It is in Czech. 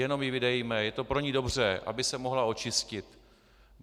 Jenom ji vydejme, je to pro ni dobře, aby se mohla očistit.